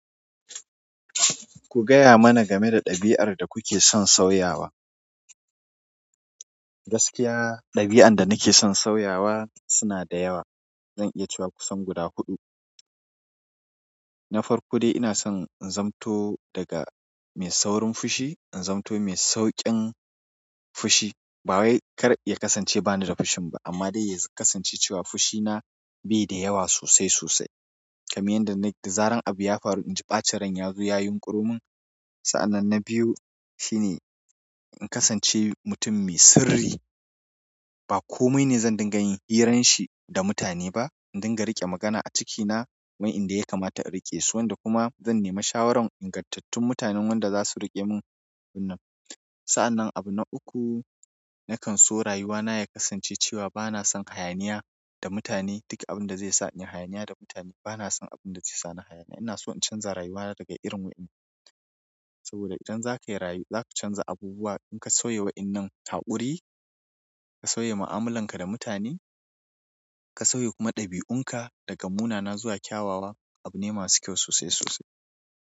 Ku gaya mana game da ɗabi'ar da kuke son sauyawa. Gaskiya ɗabi'an da nake son sauyawa suna da yawa. Zan iya cewa kusan guda huɗu. Na farko dai ina son in zamanto daga mai saurin fushi in zamanto mai sauƙin fushi. Ba wai kar ya kasance ba ni da fushin ba amma dai ya kasance cewa fushina bai da yawa sosai sosai. Kamar yanda da zaran abu ya faru in ji ɓacin ran ya zo ya yunƙuromin. Sa'an nan na biyu shine in kasance mutum mai sirri. Ba komai ne zan dinga yin hirarshi da mutane ba. In dinga riƙe magana a cikina wa inda ya kamata in riƙe su, waƴan da kuma zan nemali shawaran ingantattun mutanen wanda za su riƙe mun abun nan. Sa'an nan abu na uku, nakan so rayuwana ya kasance cewa bana son hayaniya da mutane. Duk abin da zai sa in yi hayaniya da mutane bana son abun da zai sa ni hayaniya. Ina so in canza rayuwana daga irin wa'inin. Saboda idan za ka yi rayu, za ka canza abubuwa. In ka sauya wa'inan haƙuri, ka sauya ma'amalan ka da mutane, ka sauya kuma ɗabi'un ka daga munana zuwa kyawawa abu ne masu kyau sosai sosai.